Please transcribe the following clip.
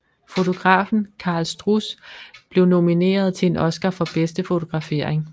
Fotografen Karl Struss blev nomineret til en Oscar for bedste fotografering